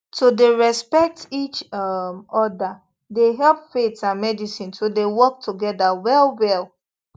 to dey respect each um other dey help faith and medicine to dey work together well well